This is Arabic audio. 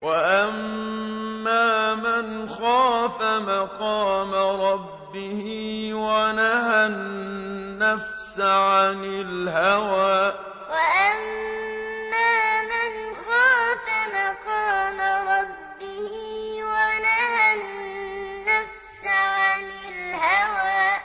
وَأَمَّا مَنْ خَافَ مَقَامَ رَبِّهِ وَنَهَى النَّفْسَ عَنِ الْهَوَىٰ وَأَمَّا مَنْ خَافَ مَقَامَ رَبِّهِ وَنَهَى النَّفْسَ عَنِ الْهَوَىٰ